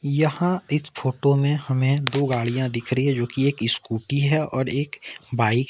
यहां इस फोटो में हमें दो गाड़ियां दिख रही है जोकि एक स्कूटी है और एक बाइक है।